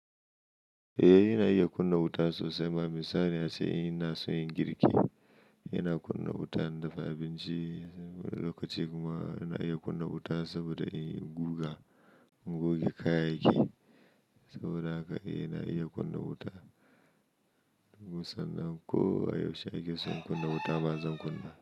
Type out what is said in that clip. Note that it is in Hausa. Eh ina iya kunna wuta sosai. Ma misali ace in ina so inyi girki, yana kunna wuta, na dafa abinci, lokaci kuma yana iya kunna wuta saboda in guga, in goge kayayyaki saboda haka yana iya kunna wuta. Musamman ko yaushe ake so in kunna wuta ba zan kunna.